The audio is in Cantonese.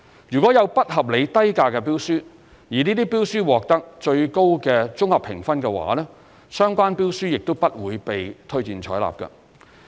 如果有不合理低價的標書，而這些標書獲得最高的綜合評分的話，相關標書亦不會被推薦採納。